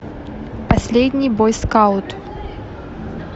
последний бойскаут